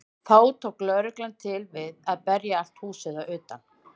Þá tók lögreglan til við að berja allt húsið að utan.